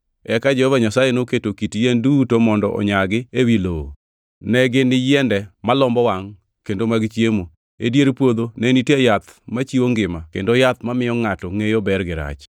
Eka Jehova Nyasaye noketo kit yien duto mondo onyagi ewi lowo, ne gin yiende malombo wangʼ kendo mag chiemo. E dier puodho ne nitie yath machiwo ngima kendo yath mamiyo ngʼato ngʼeyo ber gi rach.